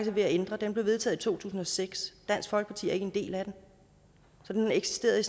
er ved at ændre blev vedtaget i to tusind og seks dansk folkeparti er ikke en del af den så den har eksisteret